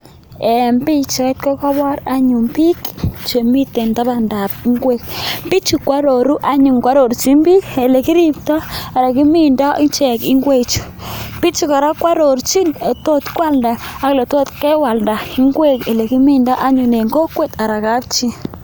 En pichait kokoboor anyun book chemist tabandaab ingwek .Bichu ko aroruu anyu. koarorchin biik ele kiribtoo, ele kimindoo ingwechu. Bichu kora koarorchin ele tot koaldaa, ak eletot kewaldaa anyone olekimindoo ingwek en kokwet ana kapchii.